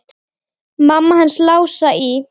Mamma hans Lása í